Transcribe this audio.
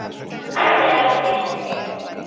Þetta er algjör snilld.